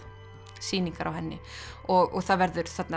sýningar á henni og það verða þarna